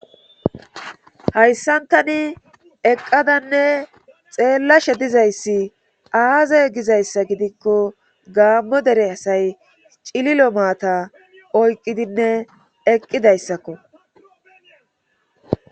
hayssantani eqqadanne xeellashe dizayssi aaze gizayssa gidikko gaammo dere hasay cililo maata oyqqidinne eqqidayssakko